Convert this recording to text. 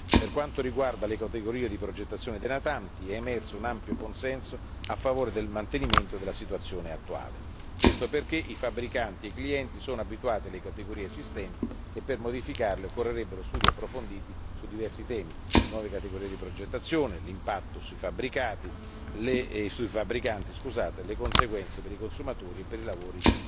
Per quanto riguarda le categorie di progettazione dei natanti, è emerso un ampio consenso a favore del mantenimento della situazione attuale, questo perché i fabbricanti e i clienti sono abituati alle categorie esistenti e per modificarle occorrerebbero studi approfonditi su diversi temi nuove categorie di progettazione, l'impatto sui fabbricanti, le conseguenze per i consumatori e per i lavori